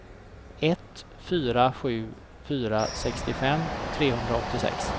ett fyra sju fyra sextiofem trehundraåttiosex